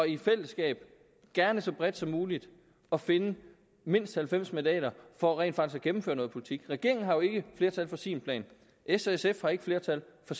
i fællesskab og gerne så bredt som muligt at finde mindst halvfems mandater for rent faktisk at gennemføre noget politik regeringen har jo ikke flertal for sin plan og s og sf har ikke flertal for